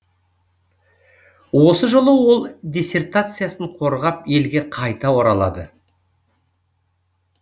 осы жылы ол диссертациясын қорғап елге қайта оралады